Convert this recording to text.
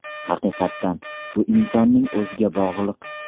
Haqiqatan, bu insonning o‘ziga bog‘liq.